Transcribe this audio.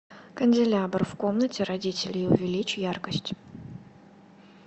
канделябр в комнате родителей увеличь яркость